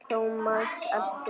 Thomas elti.